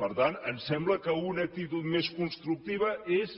per tant em sembla que una actitud més constructiva és